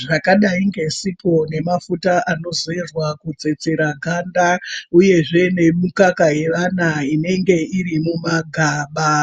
Zvakadai ngesipo, mafuta anozorwa kutsetsera ganda uyezve nemikaka yevana inenge iri numagaba.